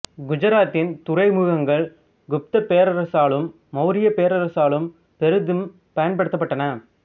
குஜராத்தின் துறைமுகங்கள் குப்த பேரரசாலும் மௌரிய பேரரசாலும் பெரிதும் பயன்படுத்தபட்டன